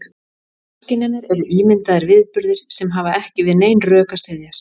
Ofskynjanir eru ímyndaðir viðburðir sem hafa ekki við nein rök að styðjast.